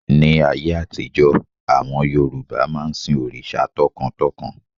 Ní ayé àtijọ́, àwọn Yorùbá máa ń sin òrìṣà tọkàntọkàn